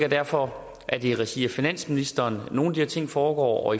og derfor er det i regi af finansministeren nogle her ting foregår og